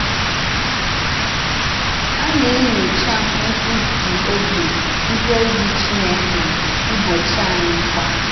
Á na-ènyòchá nkwụsì òbì ndí òzì Chìnèkè n’ụ́bọ̀chí ànyì kwa.